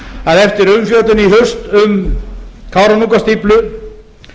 að eftir umfjöllun í haust um kárahnjúkastíflu